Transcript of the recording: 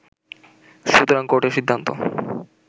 সুতরাং কোর্টের সিদ্ধান্ত